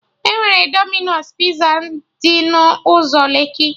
Enwere Dominos Piza dị n'ụzọ Lekki